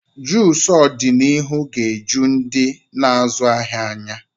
Juucu ọdịnihu ga-eju ndị na-azụ ahịa anya.